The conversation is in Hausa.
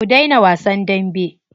Ku daina wasan dambe.